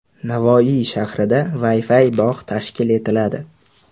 Navoiy shahrida Wi-Fi bog‘ tashkil etiladi.